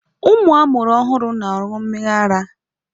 Ụmụ a mụrụ ọhụrụ na-aṅụ mmịrị ara.